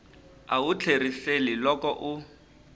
a wu tlheriseli loko u